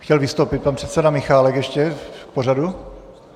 Chtěl vystoupit pan předseda Michálek ještě k pořadu?